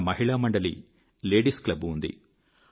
మన మహిళా మండలి లేడీస్ క్లబ్ ఉంది